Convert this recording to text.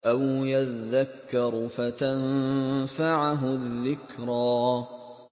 أَوْ يَذَّكَّرُ فَتَنفَعَهُ الذِّكْرَىٰ